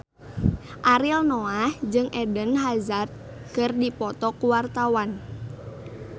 Ariel Noah jeung Eden Hazard keur dipoto ku wartawan